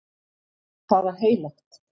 Það var heilagt.